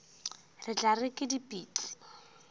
re tla re ke dipitsi